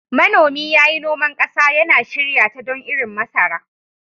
Manomi ya yi noman ƙasa, yana shirya ta don irin masara.